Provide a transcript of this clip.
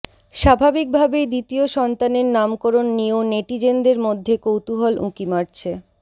স্বাভাবিক ভাবেই দ্বিতীয় সন্তানের নামকরণ নিয়েও নেটিজেনদের মধ্যে কৌতুহল উঁকি মারছে